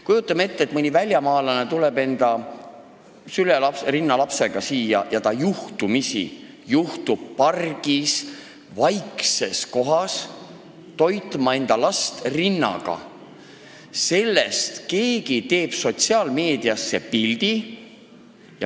Kujutame ette, et mõni väljamaalane tuleb enda rinnalapsega siia ja ta juhtub pargis vaikses kohas last rinnaga toitma ning keegi avaldab sellest sotsiaalmeedias pildi.